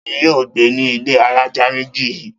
Ta ni yóò gbé ní ilé alájà méjì yìí?